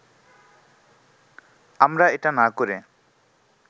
আমরা এটা না করে